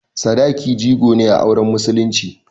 Sadaki jigo ne a auren musulunci.